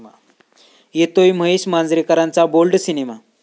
येतोय महेश मांजरेकरांचा bold cinema!